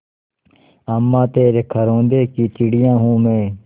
अम्मा तेरे घरौंदे की चिड़िया हूँ मैं